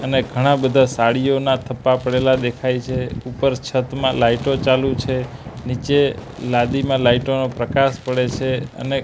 અને ઘણા બધા સાડીઓના થપ્પા પડેલા દેખાય છે ઉપર છતમાં લાઈટો ચાલુ છે નીચે લાદીમાં લાઈટો નો પ્રકાશ પડે છે અને--